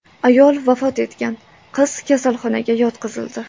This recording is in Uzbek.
Ayol vafot etgan, qiz kasalxonaga yotqizildi.